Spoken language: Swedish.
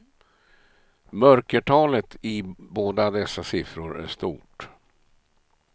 Mörkertalet i båda dessa siffror är stort.